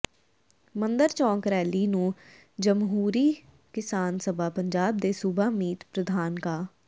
ਮੰਦਰ ਚੌਕ ਰੈਲੀ ਨੂੰ ਜਮਹੂਰੀ ਕਿਸਾਨ ਸਭਾ ਪੰਜਾਬ ਦੇ ਸੂਬਾ ਮੀਤ ਪ੍ਰਧਾਨ ਕਾ